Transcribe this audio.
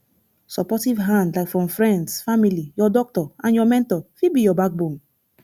supportive hand like from friends family your doctor and your mentor fit be your backbone